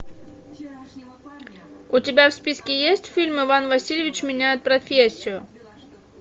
у тебя в списке есть фильм иван васильевич меняет профессию